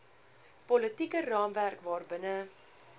politieke raamwerk waarbinne